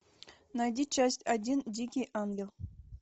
найди часть один дикий ангел